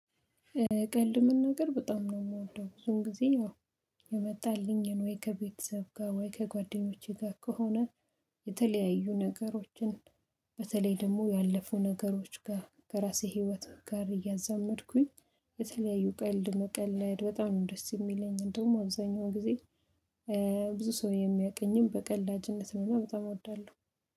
ቀልድ መናገር በጣም ነው የምወደው ብዙም ጊዜ ያው። የመጣልኝን ወይ ከቤተሰብ ጋር ወይ ከጓደኞቼ ጋር ከሆነ። የተለያዩ ነገሮችን በተለይ ደግሞ ያለፉ ነገሮች ጋር ከራሴ ህይወት ጋር እያዛመድኩኝ። የተለያዩ ቀልድ መቀለድ በጣም ነው ደስ የሚለኝ እንደውም አብዛኛው ጊዜ። ብዙ ሰው የሚያውቀኝም በቀላጅነት ነውና በጣም እወዳለሁ